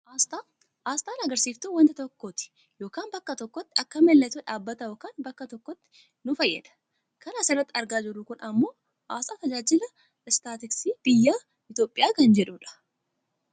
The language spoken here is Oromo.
Aasxaa, aasxaan agarsiisftuu wanta tokkooti yookaan bakka tokkooti. Akka mallattoo dhaabbata yookaan bakka tokkootti nu fayyada. kana asirratti argaa jirru kun ammoo aasxaa tajaajila istaatiskii biyya Itoopiyaa kan jedhu dha.